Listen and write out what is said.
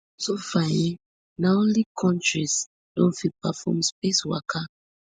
so far um na only kontris don fit perform space waka